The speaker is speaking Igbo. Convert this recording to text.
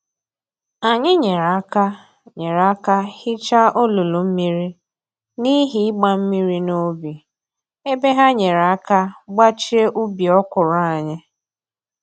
Anyị nyere aka nyere aka hicha olulu mmiri n'ihi ịgba mmiri n'ubi, ebe ha nyere aka gbachie ubi okwụrụ anyị